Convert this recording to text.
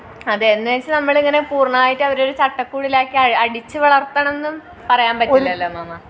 അതെ എന്നുവെച്ച് നമ്മലിങ്ങനെ പൂർണായിട്ട് അവരെ ഒരു ചട്ടക്കുഴലാക്കി അടിച്ച് വളർത്തണം എന്നും പറയാൻ പറ്റില്ലല്ലേ മാമാ